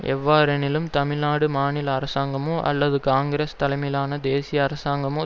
எவ்வாறெனினும் தமிழ் நாடு மாநில அரசாங்கமோ அல்லது காங்கிரஸ் தலைமையிலான தேசிய அரசாங்கமோ